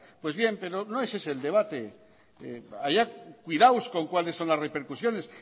pero no es ese el debate haya cuidados con cuáles son las repercusiones